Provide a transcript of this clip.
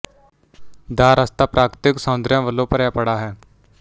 ਦਾ ਰਸਤਾ ਪ੍ਰਾਕਤੀਕ ਸੌਂਦਰਿਆ ਵਲੋਂ ਭਰਿਆ ਪਡਾ ਹੈ